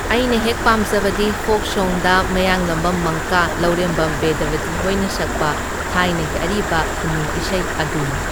ꯑꯩꯅ ꯍꯦꯛ ꯄꯥꯝꯖꯕꯗꯤ ꯐꯣꯛ ꯁꯣꯡꯗ ꯃꯌꯥꯡꯂꯝꯕꯝ ꯃꯪꯀꯥ, ꯂꯧꯔꯦꯝꯕꯝ ꯕꯦꯗꯕꯇꯤ ꯍꯣꯏꯅ ꯁꯛꯄ ꯊꯥꯏꯅꯒꯤ ꯑꯔꯤꯕ ꯈꯨꯟꯅꯨꯡ ꯏꯁꯩ ꯑꯗꯨꯅꯤ꯫